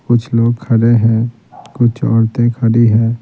कुछ लोग खड़े हैं कुछ औरतें खड़ी हैं।